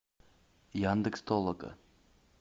яндекс толока